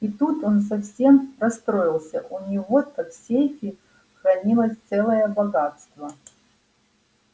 и тут он совсем расстроился у него-то в сейфе хранилось целое богатство